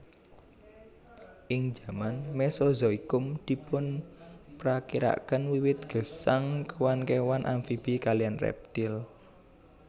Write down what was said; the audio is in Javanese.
Ing jaman mesozoikum dipunprakirakaken wiwit gesang kéwan kéwan amfibi kaliyan reptil